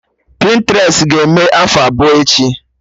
Pịntrest ga-eme afọ abụọ echi